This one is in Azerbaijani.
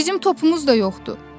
Bizim topumuz da yoxdur.